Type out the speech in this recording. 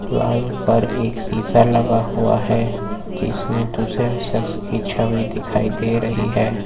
Wall पर एक शीशा लगा हुआ है जिसमें दूसरे सक्स की छवि दिखाई दे रही है।